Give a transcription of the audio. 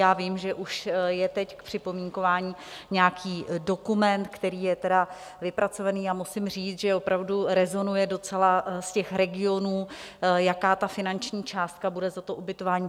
Já vím, že už je teď k připomínkování nějaký dokument, který je tedy vypracovaný, a musím říct, že opravdu rezonuje docela z těch regionů, jaká ta finanční částka bude za to ubytování.